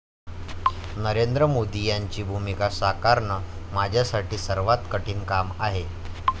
नरेंद्र मोदी यांची भूमिका साकारणं माझ्यासाठी सर्वात कठीण काम आहे.